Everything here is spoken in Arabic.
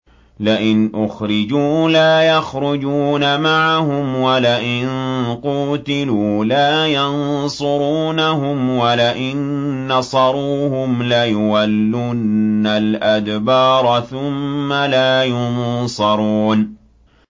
لَئِنْ أُخْرِجُوا لَا يَخْرُجُونَ مَعَهُمْ وَلَئِن قُوتِلُوا لَا يَنصُرُونَهُمْ وَلَئِن نَّصَرُوهُمْ لَيُوَلُّنَّ الْأَدْبَارَ ثُمَّ لَا يُنصَرُونَ